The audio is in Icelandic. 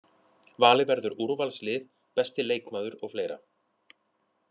Valið verður úrvalslið, besti leikmaður og fleira.